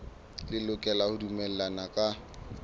le lokela ho dumellana ka